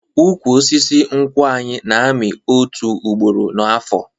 Ụkwụ osisi nkwụ anyị na-amị otu ugboro n'afo